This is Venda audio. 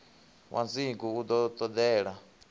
wa dzingu u ḓo tendela